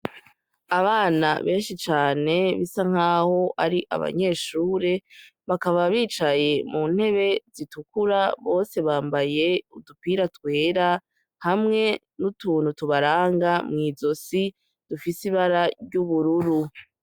Abana benshi cane bisa nk'aho ari abanyeshure bakaba bicaye mu ntebe zitukura bose bambaye udupira twera hamwe n'utuntu tubaranga mw'izosi dufise ibara ry'ubururu.